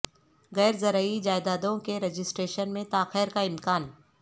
غیر زرعی جائیدادوں کے رجسٹریشن میں تاخیر کا امکان